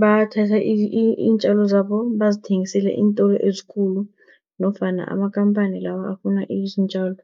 bathathe iintjalo zabo bazithengisele iintolo ezikulu, nofana amakhamphani lawa afuna iintjalo.